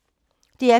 DR P3